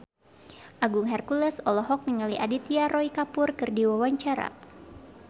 Agung Hercules olohok ningali Aditya Roy Kapoor keur diwawancara